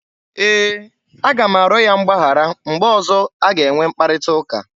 E, a ga m arịọ ya mgbaghara mgbe ọzọ a ga-enwe mkparịta ụka.